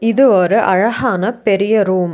இது ஒரு அழஹான பெரிய ரூம் .